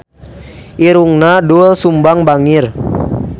Irungna Doel Sumbang bangir